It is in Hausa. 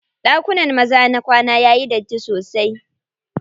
Ɗakunan maza na kwana yayi datti sosai.